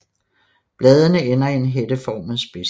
Bladene ender i en hætteformet spids